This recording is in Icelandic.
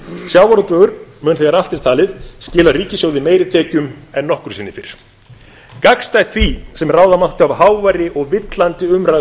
sjávarútvegur mun þegar allt er talið skila ríkissjóði meiri tekjum en nokkru sinni fyrr gagnstætt því sem ráða mátti af háværri og villandi umræðu